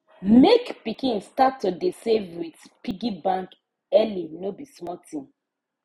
make pikin start to dey save with piggy bank early no be small thing